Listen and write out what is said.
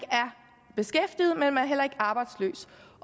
arbejdsløs